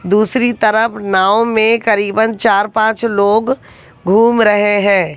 दूसरी तरफ नाव में करीबन चार पांच लोग घूम रहे हैं।